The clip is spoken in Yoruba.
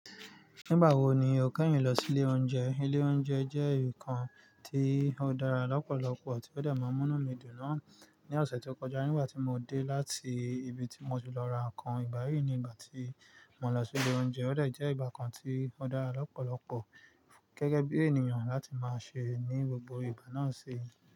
Nígbà wo ni o kẹ́yìn lọ sí ilé oúnjẹ? Ilé oúnjẹ jẹ́ nkan tí ó dára lọ́pọ̀lọpọ̀ tí ó de máa n múnú mi dùn náà ní ọ̀sẹ̀ tó kọjá nígbà tí mo dé láti ibi tí mo ti lọ ra nǹkan. Ìgbà yìí ni ìgbà tí mo lọ sí ilé oúnjẹ ó de jẹ́ ìgbà kan tí ó dára lọ́pọ̀lọpọ̀ gẹ́gẹ́ bí ènìyàn láti máa ṣe ní gbogbo ìgbà náà ṣe.